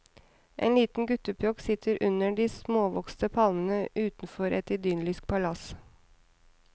En liten guttepjokk sitter under de småvokste palmene utenfor et idyllisk palass.